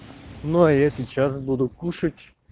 но а я сейчас буду кушать